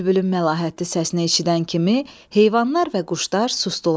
Bülbülün məlahətli səsinə eşidən kimi heyvanlar və quşlar susdular.